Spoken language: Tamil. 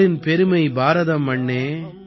பாரின் பெருமை பாரதம் அண்ணே